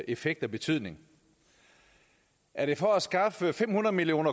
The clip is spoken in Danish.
effekt af betydning er det for at skaffe fem hundrede million